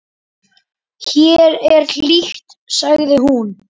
Hér er hlýtt, sagði hún.